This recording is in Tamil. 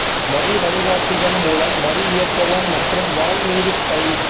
வரி வழிகாட்டிகள் மூலம் வரி இயக்கவும் மற்றும் வால் மீது டை